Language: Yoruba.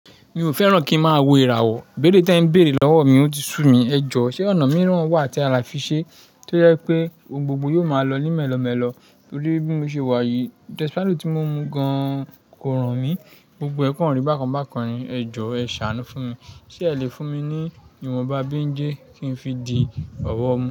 Mi o fẹ́ràn kí ń má wo ìràwọ̀, ìbéèrè tí ẹ ń béèrè lọ́wọ́ mi ń ti sú mi. Ẹ jọ, ṣé ọ̀nà mìíràn wà tí a lè fi ṣe tó yẹ pé gbogbo yóò máa lọ ní mẹ́lọ̀ mẹ́lọ̀ torí bí mo ṣe wà yìí, desperate tí mo mu gan kò ràn mí. Gbogbo ẹ kàn kan rí bàkan bákan rí, ẹ jọ ẹ ṣàánú fún mi. Ṣé ẹ le fún mi ní ìwọ̀nba béńjé kí n fi di ọ̀wọ̀ mú?